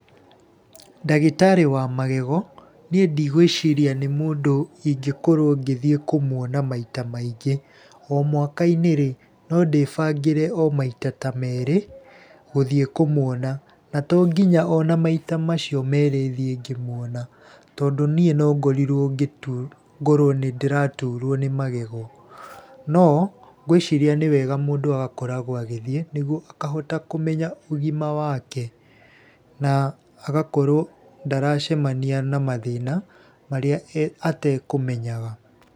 Ndagĩtarĩ wa magego, niĩ ndĩgwiciria nĩ mũndũ ingĩkorwo ngĩthiĩ kũmwona maita maingĩ. O mwaka-inĩ no ndĩbangĩre o maita ta merĩ, gũthiĩ kũmwona. Na to nginya ona maita macio merĩ thiĩ ngĩmwona, tondũ niĩ no ngorirwo ngĩturwo, ngorwo nĩ ndĩraturwo nĩ magego, no ngwĩciria nĩ wega mũndũ agakorwo agĩthiĩ, nĩguo akahota kũmenya ũgima wake na agakorwo ndaracemania na mathĩna marĩa atekũmenyaga.